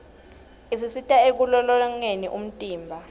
isisita ekulolongeni umtimba